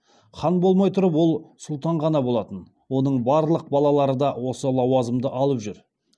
хан болмай тұрып ол сұлтан ғана болатын оның барлық балалары да осы лауазымды алып жүр